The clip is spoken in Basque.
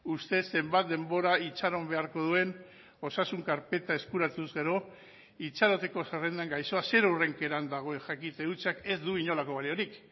ustez zenbat denbora itxaron beharko duen osasun karpeta eskuratuz gero itxaroteko zerrendan gaixoa zer hurrenkeran dagoen jakite hutsak ez du inolako baliorik